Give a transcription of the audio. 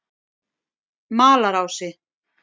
Malarási